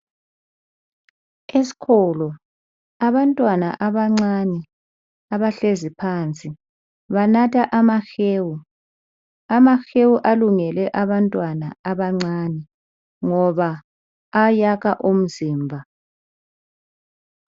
Esikolo abantwana abancane abahlezi phansi banatha amahewu. Amahewu alungele abantwana abancane ngoba ayakha umzimba